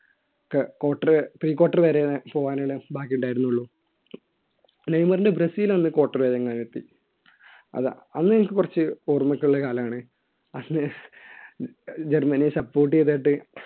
quarter prequarter വരെ പോകാനുള്ള ഭാഗ്യം ഉണ്ടായിരുന്നുള്ളൂ നെയ്മറിന്റെ ബ്രസീൽ അന്ന് quarter വരെ എങ്ങാൻഡ് എത്തി അത് അന്നെനിക്ക് കുറച്ച് ഓർമ്മഒക്കെയുള്ള കാലമാണ് അന്ന് ജർമ്മനിയെ support ചെയ്തതായിട്ട്